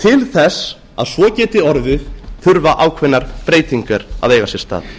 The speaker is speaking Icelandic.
til þess að svo geti orðið þurfa ákveðnar breytingar að eiga sér stað